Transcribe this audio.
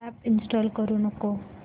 app install करू नको